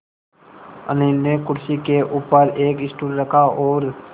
अनिल ने कुर्सी के ऊपर एक स्टूल रखा और